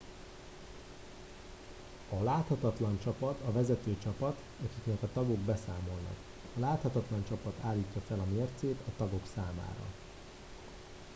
"a "láthatatlan csapat" a vezető csapat akiknek a tagok beszámolnak. a láthatatlan csapat állítja fel a mércét a tagok számára.